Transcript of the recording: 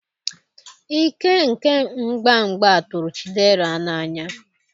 ike nke mgba mgba tụrụ chidera n'anya